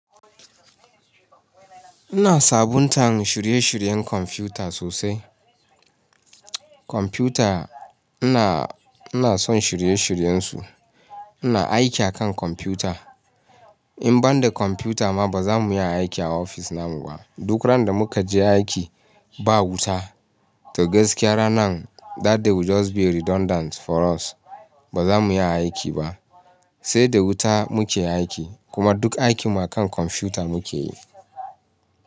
Ina sabuntan shirye shiryen kwamfuta sosai. Kwamfuta ina, ina son shirye shiryen su. Ina aiki akan kwamfuta. In ban da kwamfuta ma ba za mu iya aiki a ofis na mu ba. Duk randa muka je aiki ba wuta to gaskiya ranan that day will just be redundant for us. Ba za mu iya aiki ba. Sai da wuta muke aiki kuma duk aikin mu akan kwamfuta muke yi.